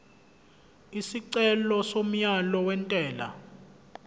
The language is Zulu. isicelo somyalo wentela